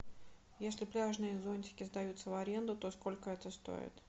если пляжные зонтики сдаются в аренду то сколько это стоит